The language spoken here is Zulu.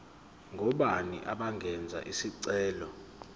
ngobani abangenza isicelo